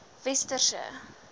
westerse